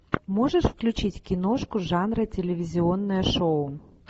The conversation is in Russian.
можешь включить киношку жанра телевизионное шоу